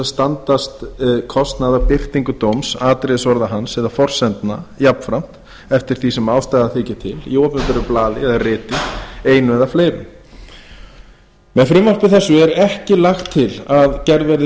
standast kostnað af birtingu dóms atriðisorða hans eða forsendna jafnframt eftir því sem ástæða þykir til í opinberu blaði eða riti einu eða fleirum með frumvarpi þessu er ekki lagt til að gerð verði breyting